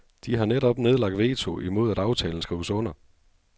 De har netop nedlagt veto imod at aftalen skrives under.